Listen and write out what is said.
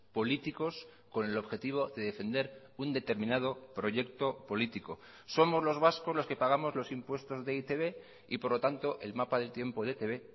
políticos con el objetivo de defender un determinado proyecto político somos los vascos los que pagamos los impuestos de e i te be y por lo tanto el mapa del tiempo de etb